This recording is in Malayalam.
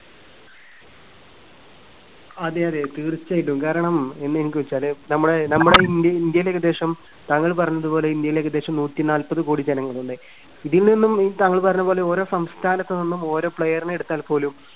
അതെയതെ തീർച്ചയായിട്ടും. കാരണം വെച്ചാല് നമ്മുടെ നമ്മുടെ ഇന്ത്യയി ഇന്ത്യയില് ഏകദേശം താങ്കള് പറഞ്ഞതുപോലെ ഇന്ത്യയില് ഏകദേശം നൂറ്റിനാല്പത് കോടി ജനങ്ങളുണ്ട്. ഇതിൽ നിന്നും താങ്കൾ പറഞ്ഞ പോലെ ഓരോ സംസ്ഥാനത്തു നിന്നും ഓരോ player നെ എടുത്താൽപോലും